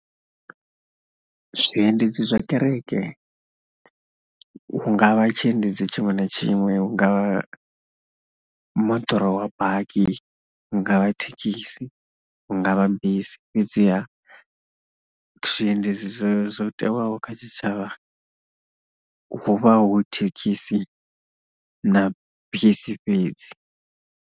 Zwiendedzi zwa kereke hu nga vha tshiendedzi tshiṅwe na tshiṅwe, hu nga vha moḓoro wa baki, hu nga vha thekhisi, hu nga vha bisi fhedzi ha zwiendedzi zwezwo tewaho kha tshitshavha hu vha hu thekhisi na bisi fhedzi.